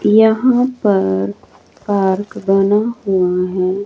यहां पर पार्क बना हुआ हैं।